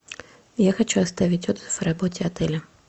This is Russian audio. я хочу оставить отзыв о работе отеля